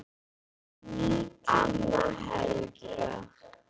Amma Helga.